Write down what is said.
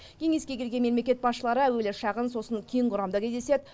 кеңеске келген мемлекет басшылары әуелі шағын сосын кең құрамда кездеседі